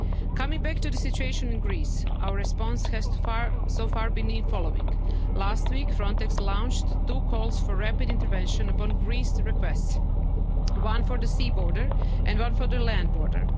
in Turkey. Coming back to the situation in Greece, our response has so far been the following last week, Frontex launched two calls for rapid intervention upon Greece's request one for the sea border and one for